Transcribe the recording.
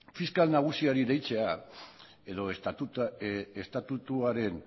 fiskal nagusiari deitzea edo estatutuaren